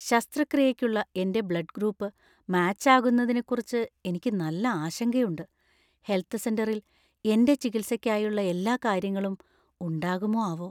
ശസ്‌ത്രക്രിയയ്‌ക്കുള്ള എന്‍റെ blood group match ആകുന്നതിനെക്കുറിച്ച് എനിക്ക് നല്ല ആശങ്കയുണ്ട് ഹെൽത്ത് സെന്ററിൽ എന്‍റെ ചികിത്സയ്‌ക്കായുള്ള എല്ലാ കാര്യങ്ങളും ഉണ്ടാകുമോ ആവോ ?